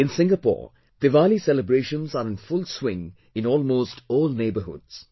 In Singapore, Diwali celebrations are in full swing in almost all neighbourhoods